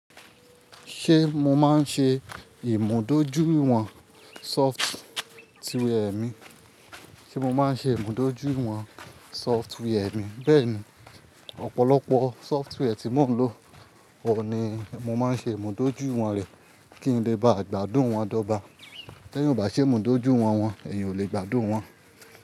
Ṣé mo máa ń ṣe ìmúdójúìwọ̀n sọftíwẹ́ẹ̀ mi? Ṣé mo máa ń ṣe ìmúdójúìwọ̀n sọftíwẹ́ẹ̀ mi? Bẹ́ẹ̀ni, ọ̀pọ̀lọpọ̀ sọftíwẹ́ẹ̀ tí mò ń lò, òun ni mo máa ń ṣe ìmúdójúìwọ̀n rẹ̀ kí n lè ba gbádùn wọn dọ́ba. Ti ẹ̀yan ò bá ṣe ìmúdójúìwọ̀n wọn, ẹ̀yan ò lè gbádùn wọn.